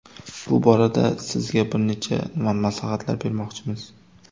Bu borada sizga bir necha maslahatlar bermoqchimiz.